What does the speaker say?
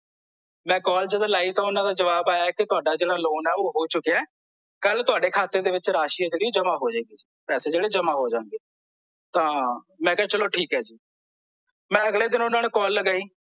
ਮੈਂ ਕਾਲ ਜਦੋਂ ਲਾਈ ਤਾਂ ਓਹਨਾਂ ਦਾ ਜਵਾਬ ਆਇਆ ਕੀ ਤੁਹਾਡਾ ਜਿਹੜਾ ਲੋਨ ਐ ਓਹ ਹੋ ਚੁੱਕਿਆ ਐ ਓਹ ਹੋ ਚੁੱਕਿਆ ਐ ਕੱਲ ਤੁਹਾਡੇ ਖਾਤੇ ਦੇ ਵਿੱਚ ਜਿਹੜੀ ਰਾਸ਼ੀ ਐ ਜਿਹੜੀ ਜਮਾਂ ਹੋ ਜਾਏਗੀ ਪੈਸੇ ਜਿਹੜੇ ਜਮਾਂ ਹੋ ਜਾਂਗੇ ਤਾਂ ਮੈਂ ਕਿਹਾ ਚਲੋ ਠੀਕ ਐ ਜੀ ਮੈਂ ਅਗਲੇ ਦਿਨ ਓਹਨਾਂ ਨੂੰ ਕਾਲ ਲਗਾਈ